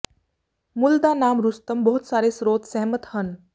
ਮੁੱਲ ਦਾ ਨਾਮ ਰੁਸਤਮ ਬਹੁਤ ਸਾਰੇ ਸਰੋਤ ਸਹਿਮਤ ਹਨ